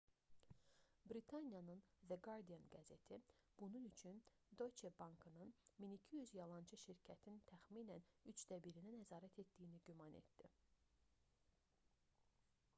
britaniyanın the guardian qəzeti bunun üçün deutsche bankın 1200 yalançı şirkətin təxminən üçdə birinə nəzarət etdiyini güman etdi